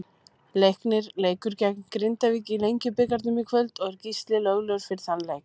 Leiknir leikur gegn Grindavík í Lengjubikarnum í kvöld og er Gísli löglegur fyrir þann leik.